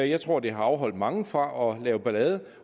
jeg tror det har afholdt mange fra at lave ballade